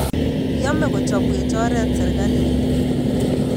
Yaame kochobwech oret serikalit